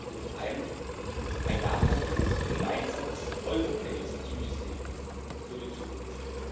Deswegen brauchen wir zum einen ein nachhaltiges, ein gemeinsames europäisches Asylsystem für die Zukunft.